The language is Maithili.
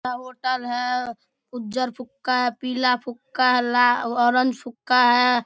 होटल है उज्जरा फुक्का है पीला फूक्का है लाल ऑरेंज फुक्का है।